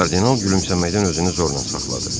Kardinal gülümsəməkdən özünü zorla saxladı.